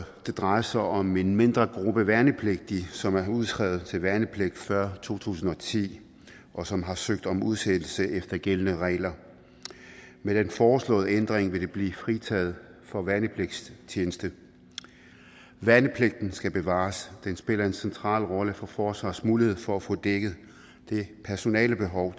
det drejer sig om en mindre gruppe værnepligtige som er udskrevet til værnepligt før to tusind og ti og som har søgt om udsættelse efter gældende regler med den foreslåede ændring vil de blive fritaget for værnepligtstjeneste værnepligten skal bevares den spiller en central rolle for forsvarets mulighed for at få dækket det personalebehov